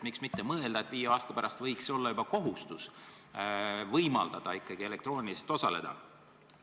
Miks mitte mõelda, et viie aasta pärast võiks olla juba kohustus võimaldada ikkagi elektrooniliselt osaleda?